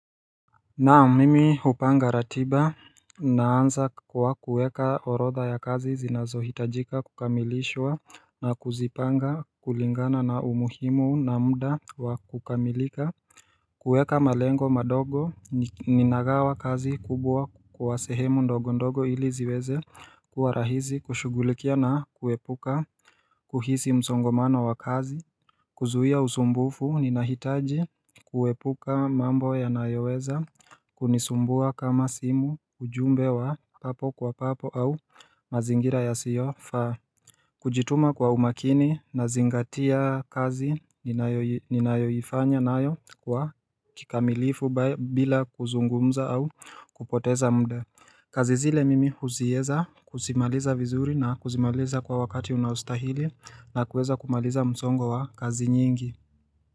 Naam mimi hupanga ratiba, naanza kwa kueka orotha ya kazi zinazohitajika kukamilishwa na kuzipanga kulingana na umuhimu na mda wa kukamilika kueka malengo madogo niagawa kazi kubwa kwa sehemu ndogo ndogo ili ziweze kuwa rahizi kushugulikia na kuepuka kuhisi msongomano wa kazi kuzuia usumbufu ninahitaji kuepuka mambo ya nayoweza kunisumbua kama simu ujumbe wa papo kwa papo au mazingira yasiofaa kujituma kwa umakini na zingatia kazi ninayoifanya nayo kwa kikamilifu bila kuzungumza au kupoteza mda, kazi zile mimi huzieza kuzimaliza vizuri na kuzimaliza kwa wakati unaostahili na kuweza kumaliza msongo wa kazi nyingi.